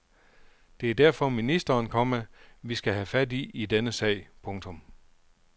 Det er derfor ministeren, komma vi skal have fat i i denne sag. punktum